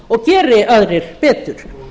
og geri aðrir betur